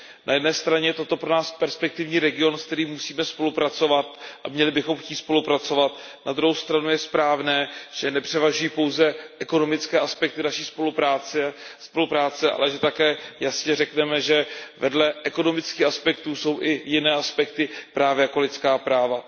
Na jedné straně je toto pro nás perspektivní region, se kterým musíme spolupracovat a měli bychom chtít spolupracovat, na druhou stranu je správné, že nepřevažují pouze ekonomické aspekty naší spolupráce, ale že také jasně řekneme, že vedle ekonomických aspektů jsou i jiné aspekty právě jako lidská práva.